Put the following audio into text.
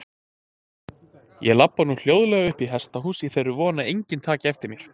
Ég labba nú hljóðlega uppað hesthúsinu í þeirri von að enginn taki eftir mér.